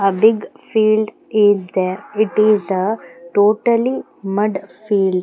A big field is there it is a totally mud field.